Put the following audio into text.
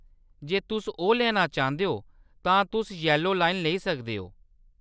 जे तुस ओह्‌‌‌ लैना चांह्‌‌‌दे ओ, तां तुस यैलो लाइन लेई सकदे ओ।